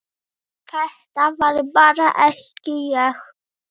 Þetta var bara ekki ég.